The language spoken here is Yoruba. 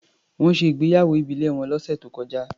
Wọ́n ṣe ìgbéyàwó ìbílẹ̀ wọn lọ́sẹ̀ tó kọjá.